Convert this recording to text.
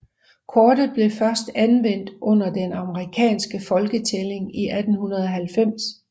Kortet blev først anvendt under den amerikanske folketælling i 1890